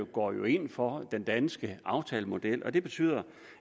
går jo ind for den danske aftalemodel og det betyder